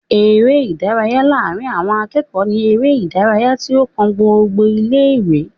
eré ìdárayá láàrin àwon akéọ̀ọ́ ní eré ìdárayá tí ó kan gbogbo ilé ìwé